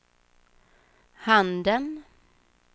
handen